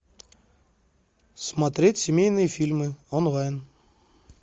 смотреть семейные фильмы онлайн